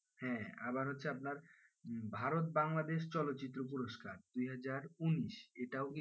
হ্যাঁ আবার হচ্ছে আপনার ভারত বাংলাদেশ চলচ্চিত্র পুরস্কার দুহাজার উনিশ এটাও কিন্তু,